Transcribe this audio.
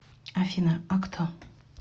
афина а кто